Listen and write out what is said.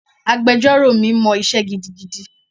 Agbẹjọ́rò mi mọ isé gidigidi.